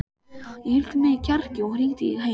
Ég hleypti í mig kjarki og hringdi heim.